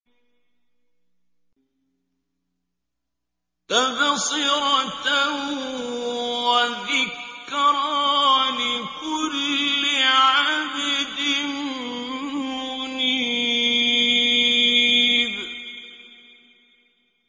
تَبْصِرَةً وَذِكْرَىٰ لِكُلِّ عَبْدٍ مُّنِيبٍ